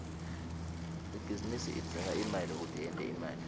ibhizinisi idzinga imali kute yente imali